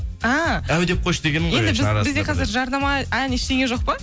а әу деп қойшы дегенім енді бізде жарнама ән ештеңе жоқ па